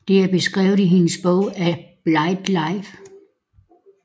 Det er beskrevet i hendes bog A Blighted Life